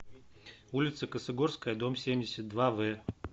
улица косогорская дом семьдесят два в